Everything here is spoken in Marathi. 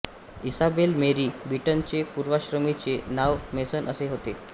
इसाबेला मेरी बीटनचे पूर्वाश्रमीचे नाव मेसन असे होते